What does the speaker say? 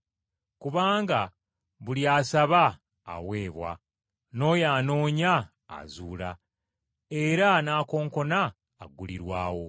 Kubanga buli asaba, aweebwa, n’oyo anoonya, azuula, era n’oyo akonkona aggulirwawo.